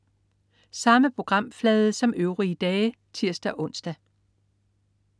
Samme programflade som øvrige dage (tirs-ons)